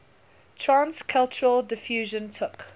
trans cultural diffusion took